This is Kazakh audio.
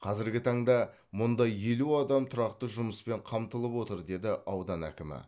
қазіргі таңда мұнда елу адам тұрақты жұмыспен қамтылып отыр деді аудан әкімі